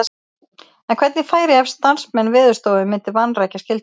En hvernig færi ef starfsmenn Veðurstofu myndu vanrækja skyldu sína?